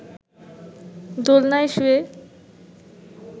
দোলনায় শুয়ে